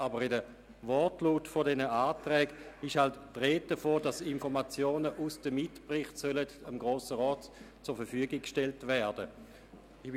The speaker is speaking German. Aber im Wortlaut dieser Anträge ist die Rede davon, dass Informationen aus den Mitberichten dem Grossen Rat zur Verfügung gestellt werden sollen.